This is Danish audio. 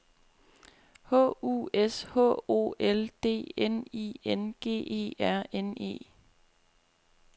H U S H O L D N I N G E R N E